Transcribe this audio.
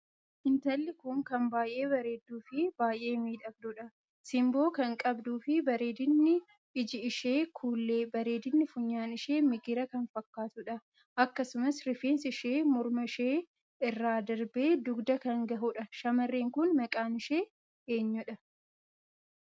lntalli kun kan baay'ee bareedduu fi baay'ee miidhagduudha. sinboo kan qabduu fi bareedinni iji ishee kuullee, bareedinni funyaan ishee migiraa kan fakkaatuudha. akkasumas rifeensi ishee morma ishee irraa darbee dugda kan gahuudha shamarreen Kun maqaan ishee eenyu